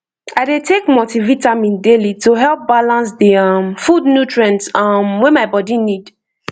i dey take multivitamin daily to help balance the um food nutrients um wey my body need